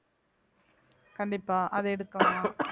கண்டிப்பா அதை எடுக்கணும்